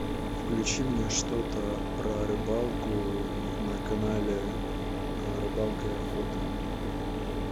включи мне что то про рыбалку на канале рыбалка и охота